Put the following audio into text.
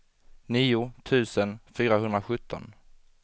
nio tusen fyrahundrasjutton